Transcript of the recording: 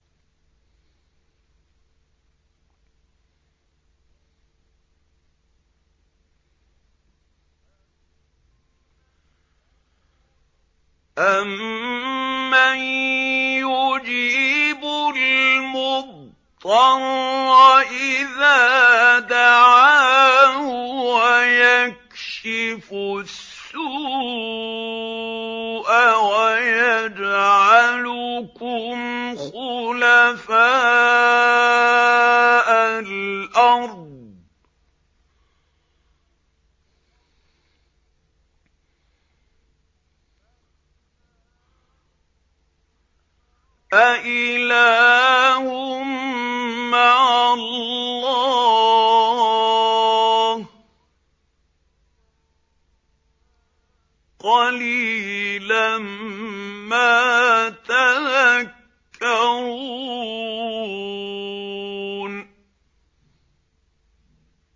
أَمَّن يُجِيبُ الْمُضْطَرَّ إِذَا دَعَاهُ وَيَكْشِفُ السُّوءَ وَيَجْعَلُكُمْ خُلَفَاءَ الْأَرْضِ ۗ أَإِلَٰهٌ مَّعَ اللَّهِ ۚ قَلِيلًا مَّا تَذَكَّرُونَ